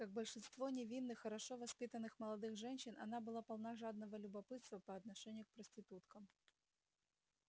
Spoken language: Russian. как большинство невинных хорошо воспитанных молодых женщин она была полна жадного любопытства по отношению к проституткам